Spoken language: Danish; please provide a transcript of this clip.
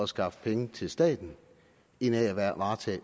skaffe penge til staten end af at varetage